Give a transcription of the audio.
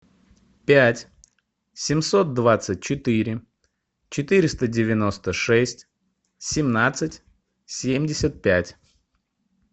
пять семьсот двадцать четыре четыреста девяносто шесть семнадцать семьдесят пять